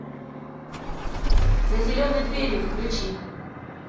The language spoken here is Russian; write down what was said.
за зеленой дверью включи